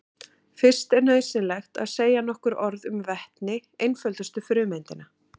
Fyrst er nauðsynlegt að segja nokkur orð um vetni, einföldustu frumeindina.